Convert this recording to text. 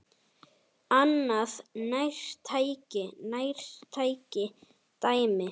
Annað nærtækt dæmi.